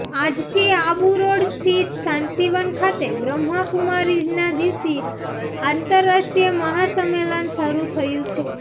આજથી આબુરોડ સ્થિત શાંતિવન ખાતે બ્રહ્માકુમારીઝના દિવસીય આંતરરાષ્ટ્રીય મહાસમેલન શરૂ થયું છે